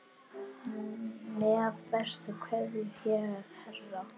Með bestu kveðju Hera.